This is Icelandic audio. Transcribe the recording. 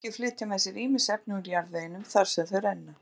Ár og lækir flytja með sér ýmis efni úr jarðveginum þar sem þau renna.